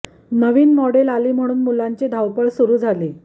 नवीन model आली म्हणून मुलांची धावपळ सुरू झाली